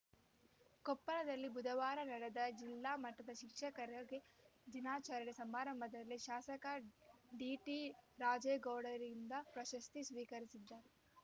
ಕೊಪ್ಪಲದಲ್ಲಿ ಬುಧವಾರ ನಡೆದ ಜಿಲ್ಲಾ ಮಟ್ಟದ ಶಿಕ್ಷಕರ ದಿನಾಚರಣೆ ಸಮಾರಂಭದಲ್ಲಿ ಶಾಸಕ ಡಿಟಿರಾಜೇಗೌಡರಿಂದ ಪ್ರಶಸ್ತಿ ಸ್ವೀಕರಿಸಿದರು